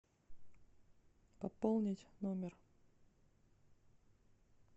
пополнить номер